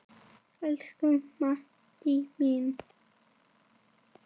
Elsku Maddý mín.